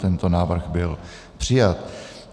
Tento návrh byl přijat.